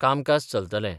कामकाज चलतलें.